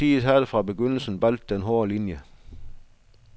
Politiet havde fra begyndelsen valgt den hårde linie.